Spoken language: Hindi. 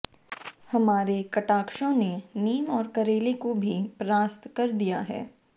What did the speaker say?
हमारे कटाक्षों ने नीम और करेले को भी परास्त कर दिया है